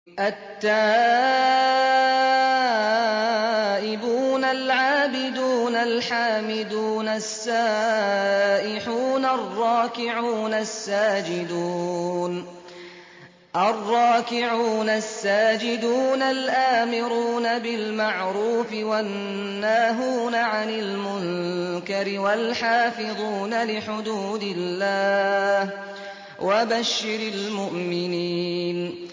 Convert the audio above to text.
التَّائِبُونَ الْعَابِدُونَ الْحَامِدُونَ السَّائِحُونَ الرَّاكِعُونَ السَّاجِدُونَ الْآمِرُونَ بِالْمَعْرُوفِ وَالنَّاهُونَ عَنِ الْمُنكَرِ وَالْحَافِظُونَ لِحُدُودِ اللَّهِ ۗ وَبَشِّرِ الْمُؤْمِنِينَ